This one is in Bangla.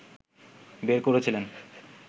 বের করেছিলেন